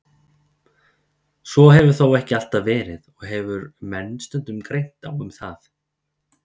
Svo hefur þó ekki alltaf verið og hefur menn stundum greint á um það.